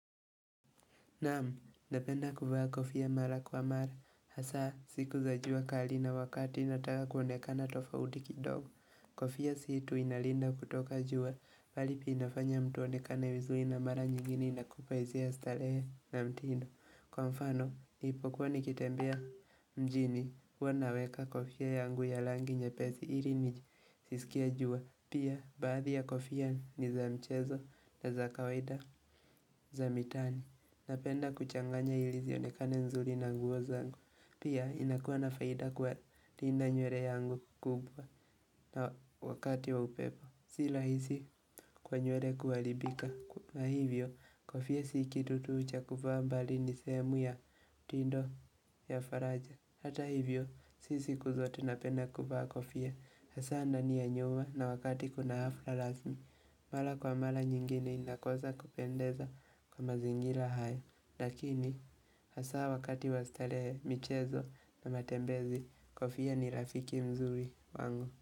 Naam, napenda kuvaa kofia mara kwa mara, hasaa siku za jua kali na wakati ninataka kuonekana tofauti kidogo. Kofia si tu inalinda kutoka jua, bali pia inafanya mtu aonekane vizuri na mara nyingine inakupa hisia, starehe na mtindo. Kwa mfano, ninapokuwa nikitembea mjini, huwa naweka kofia yangu ya rangi nyepesi ili nisiskie jua. Pia, baadhi ya kofia ni za mchezo na za kawaida za mitaani. Napenda kuchanganya ili zionekane nzuri na nguo zangu. Pia inakuwa na faida kwa kulinda nywele yangu kubwa na wakati wa upepo. Si rahisi kwa nywele kuharibika. Na hivyo, kofia si kitu tu ucha kuvaa, bali ni sehemu ya mtindo ya faraja. Hata hivyo, si siku zote napenda kuvaa kofia, hasaa ndani ya nyumba na wakati kuna hafla rasmi, mara kwa mara nyingine inakosa kupendeza kwa mazingira haya. Lakini, hasaa wakati wastarehe, michezo na matembezi, kofia ni rafiki mzuri wangu.